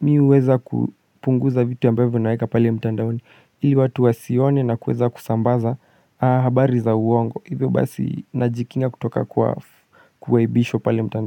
mimi huweza kupunguza vitu ambavyo naeka pale mtandaoni ili watu wasione na kuweza kusambaza habari za uongo hivyo basi najikinga kutoka kwa kuaibishwa pale mtandaoni.